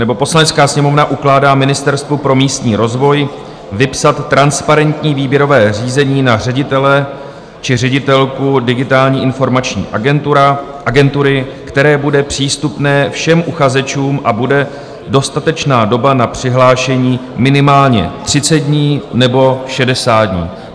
nebo "Poslanecká sněmovna ukládá Ministerstvu pro místní rozvoj vypsat transparentní výběrové řízení na ředitele či ředitelku Digitální informační agentury, které bude přístupné všem uchazečům a bude dostatečná doba na přihlášení minimálně 30 dní nebo 60 dní."